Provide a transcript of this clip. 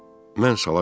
Mən sala qayıtdım.